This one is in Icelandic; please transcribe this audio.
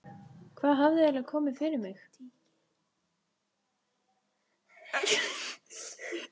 Hvað hafði eiginlega komið fyrir mig?